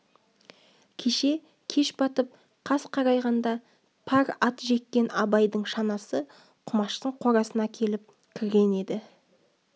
кеше кеш батып қас қарайғанда пар ат жеккен абайдың шанасы құмаштың қорасына келіп кірген еді